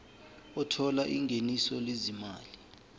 othola ingeniso lezimali